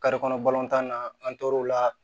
kɔnɔ balontan na an tor'o la